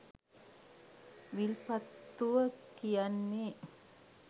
විල්පත්තුව කියන්නෙ